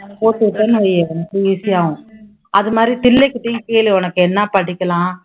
போட்டு விட்டுன்னுவை easy ஆகும் அது மாதிரி கிட்டயும் கேளு உனக்கு என்ன படிக்கலாம்